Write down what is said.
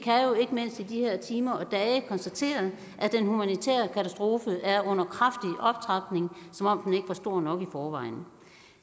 de her timer og dage konstatere at den humanitære katastrofe er under kraftig optrapning som om den ikke var stor nok i forvejen